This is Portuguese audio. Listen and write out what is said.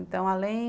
Então, além...